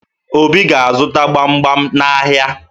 Obi ga-azụta gbamgbam n'ahịa